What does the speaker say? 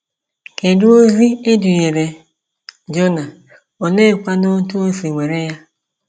Kedụ ozi e dunyere Jona, oleekwanụ otú o si were ya?